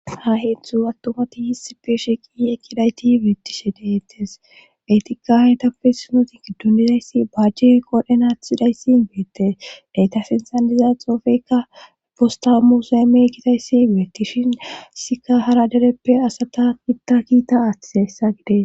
Ha heetztzu attomati hiss peeshe qiye kidayti beettishe deettes etikka haytappe sunoti kiddundizayssi bajje qodenathidayssin beettes deytafensan diza xoofeykka fosta museeme kitayssi beettishinsika hara dereppe asata itta kiita aathessa gide